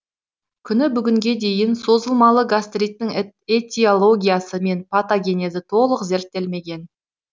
күні бүгінге дейін созылмалы гастриттің этиологиясы мен патогенезі толық зерттелмеген